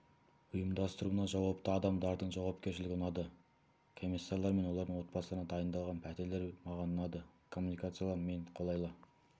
ұйымдастыруына жауапты адамдардың жауапкершілігі ұнады комиссарлар мен олардың отбасыларына дайындалған пәтерлер маған ұнады коммуникациялар мен қолайлы